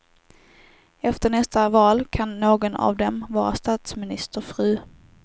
Efter nästa val kan någon av dem vara statsministerfru.